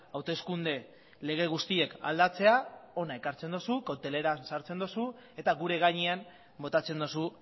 hauteskunde lege guztiek aldatzea hona ekartzen duzu kokteleran sartzen duzu eta gure gainean botatzen duzu